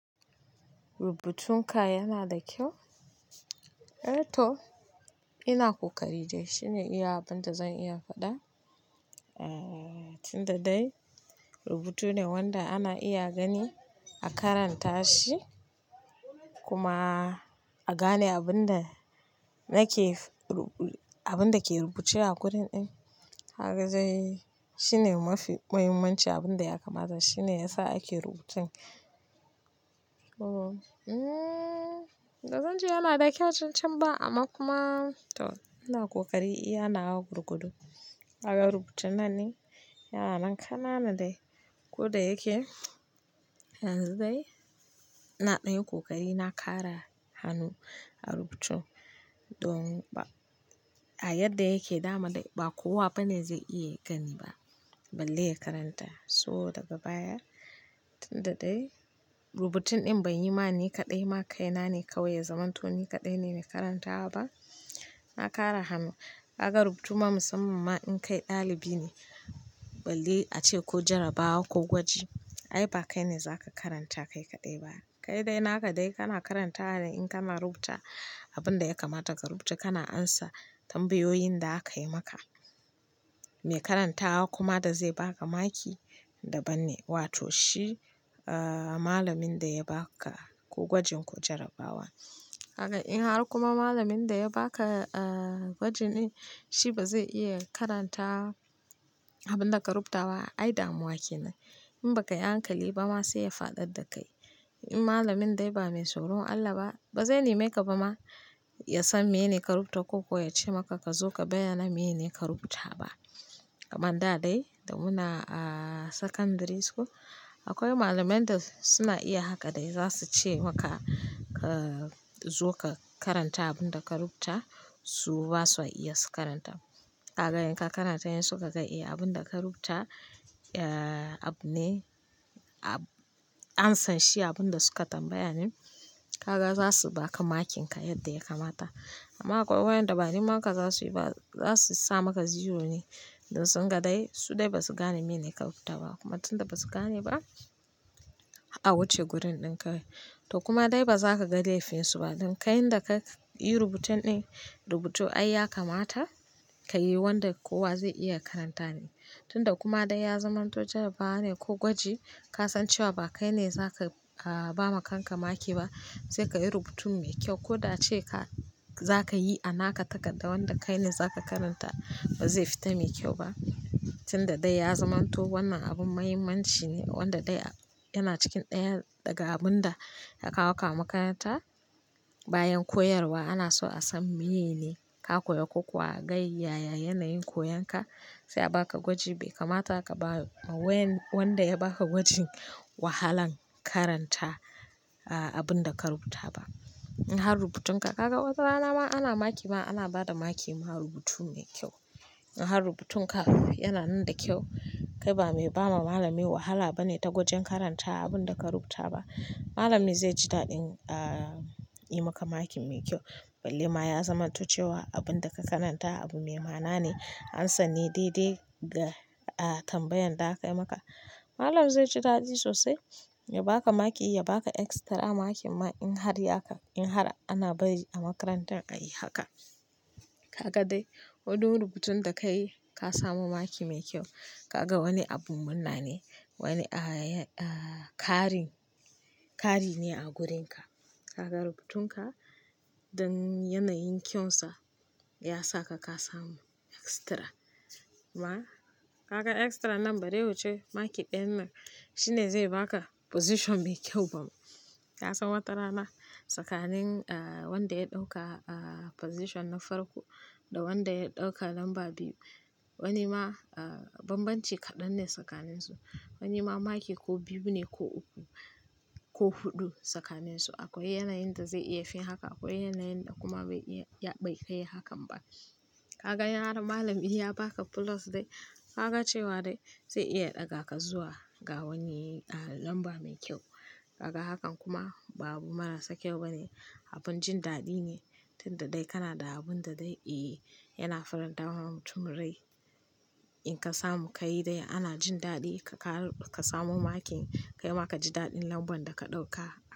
Rubutun ka yana da kyau? ehTo ina ƙoƙari dai, shine iya abin da zan iya faɗa. Tunda dai rubutu ne wanda ana iya gani a karanta shi kuma a gane abin da ke rubuce a gurin din. Kaga dai shine mafi muhimmanci abin da ya kamata, shine yasa ake rubutun. Ba zan ce yana da kyau, can can ba amma kuma to ina kokari iya na gwargwado. Kaga rubutun nan ne, yana nan kanana dai ko da yake yanzu dai ina ɗanyi kokari na kara hannu a rubutun. Don a yadda yake dama dai ba kowa bane zai iya gani ba, balle ya karanta. So daga baya tunda dai rubutun din bai yi ma ni kaɗai ma kai na ne kawai ya zamanto ni kaɗai ne mai karantawa ba. Na kara hannu, kaga rubutu ma musamman ma in kai ɗalibi ne balle ace ko jarrabawa ko gwaji ai ba kai ne za ka karanta kai kaɗai ba. Kai dai naka dai kana karantawa in kana rubuta abin da ya kamata ka rubuce, kana amsa tambayoyin da aka yi maka. Mai karantawa kuma da zai baka maki daban ne, wato shi malamin da ya baka ko gwajin ko jarrabawa. Kagaa in har kuma malamin da ya baka gwajin din shi ba zai iya karanta abin da ka rubuta ba, ai damuwa kenan. In ba ka yi hankali ba ma sai ya faɗar da kai. In malamin dai ba mai tsoron Allah ba, ba zai nemi ka ba ma ya san meye ka rubuta ko kuwa ya ce maka ka zo ka bayyana meye ne ka rubuta ba. Kamar da dai da muna a sakandari school akwai malamai da suna iya haka dai za su ce maka ka zo ka karanta abin da ka rubuta su ba sa iya su karanta. Kaga in ka karanta in suka ga eh abin da ka rubuta abune, an san shi abin da suka tambaya ne. Haka za su baka makin ka yadda ya kamata. Amma akwai wayanda ba nema ka za su yi ba, za su sa maka zero ne. Don sunga dai su dai ba su gane meye ne ka rubuta ba kuma tunda ba su gane ba a wuce gurin din kawai. To kuma dai ba za ka ga laifinsu ba don kai inda ka yi rubutun din rubutu ai ya kamata ka yi wanda kowa zai iya karanta ne. Tunda kuma dai ya zamanto jarrabawa ne ko gwaji ka san cewa ba kai ne za ka ba ma kanka maki ba sai ka yi rubutun mai kyau ko da ace ka za ka yi a naka takarda wanda kai ne za ka karanta ba zai fita mai kyau ba. Tunda dai ya zamanto wannan abin muhimmanci ne wanda dai yana cikin ɗaya daga abun da ya kawo ka a makaranta bayan koyarwa ana so a san meye ne ka koya ko kuwa ga yaya yanayin koyan ka sai a baka gwaji bai kamata ka ba wen wanda ya baka gwajin wahalan karanta abin da ka rubuta ba. In har rubutun ka kaga wata rana ma ana maki ma ana ba da maki ma rubutu mai kyau. In har rubutun ka yana nan da kyau kai ba mai ba ma malami wahala bane ta wajen karanta abin da ka rubuta ba. Malami zai ji daɗin a yi maka maki mai kyau balle ma ya zamanto cewa abin da ka karanta abu me mana ne, amsan ne daidai da tambayan da aka yi maka. Malami zai ji daɗi sosai ya baka maki, ya baka extra maki ma in har haka in har ana bari a makarantar ka yi haka. Kaga dai ko don rubutun da ka yi ka samu maki mai kyau. Kaga wani abun munna ne, wani kari, kari ne a gurin ka. Kaga rubutun ka don yanayin kyansa ya sa ka, ka samu extra. Kuma kaga extra nan bari huce maki ɗayan nan shine zai baka position mai kyau bam. Ka san watarana tsakanin wanda ya ɗauka position na farko da wanda ya ɗauka lamba biyu wani ma bambanci kaɗan ne tsakaninsu. Wani ma maki ko biyu ne ko uku ko huɗu tsakaninsu. Akwai yanayin da zai iya fin haka, akwai yanayin da kuma bai iya, bai kai hakan ba. Kaga in har malami ya baka plus dai kaga cewa dai zai iya ɗaga ka zuwa ga wani lamba mai kyau. Kaga hakan kuma ba abu marasa kyau bane, abin jin daɗi ne. Tunda dai kana da abun da dai yana faranta wa mutum rai. In ka samu ka yi dai ana jin daɗi ka samu maki kai ma ka ji daɗin lambar da ka ɗauka.